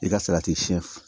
I ka si